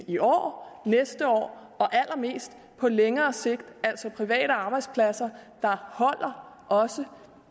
i år næste år og allermest på længere sigt altså private arbejdspladser der holder også